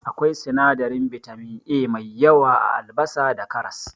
Akwai sinadarin bitamin A mai yawa a Albasa da karas.